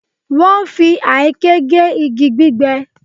Wọ́n fi àáké gé igi gbígbẹ